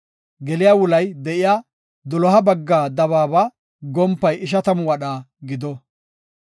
Geliya wulay de7iya, doloha bagga dabaaba gompay ishatamu wadha gido.